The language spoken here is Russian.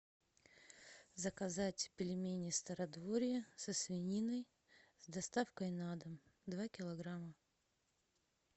заказать пельмени стародворье со свининой с доставкой на дом два килограмма